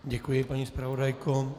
Děkuji, paní zpravodajko.